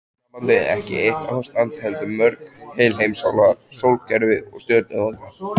Hjónabandið ekki eitt ástand heldur mörg, heil heimsálfa, sólkerfi, stjörnuþoka.